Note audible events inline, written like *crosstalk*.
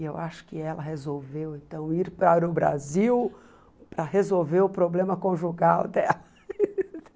E eu acho que ela resolveu então ir para o Brasil para resolver o problema conjugal dela. *laughs*